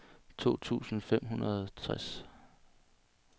to tusind fem hundrede og tres